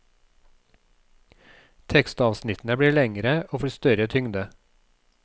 Tekstavsnittene blir lengre og får større tyngde.